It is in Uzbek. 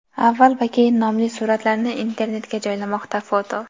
"avval va keyin" nomli suratlarni internetga joylamoqda (foto).